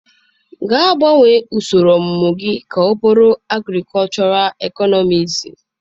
Gaa gbanwee usoro ọmụmụ gị ka ọ bụrụ Agrikọchọral ịknomiksị.